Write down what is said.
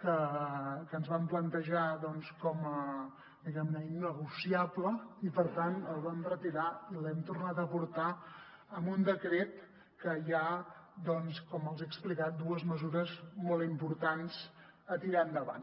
que ens vam plantejar diguem ne com a innegociable i per tant el vam retirar i l’hem tornat a portar en un decret en que hi ha doncs com els he explicat dues mesures molt importants a tirar endavant